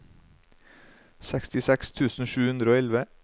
sekstiseks tusen sju hundre og elleve